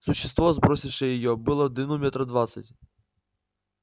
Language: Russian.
существо сбросившее её было в длину метров двадцать